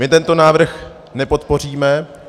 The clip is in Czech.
My tento návrh nepodpoříme.